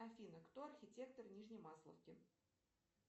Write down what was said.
афина кто архитектор нижней масловки